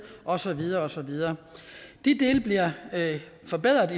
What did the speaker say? og så videre og så videre de dele bliver forbedret